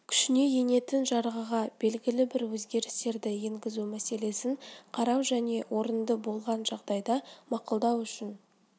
күшіне енетін жарғыға белгілі бір өзгерістерді енгізу мәселесін қарау және орынды болған жағдайда мақұлдау үшін